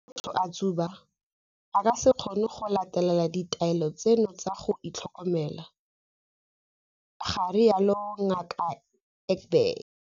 Fa motho a tsuba, a ka se kgone go latela ditaelo tseno tsa go itlhokomela, ga rialo Ngaka Egbe.